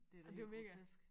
Det da helt grotesk